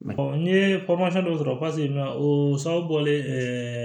n ye dɔ sɔrɔ o sababulen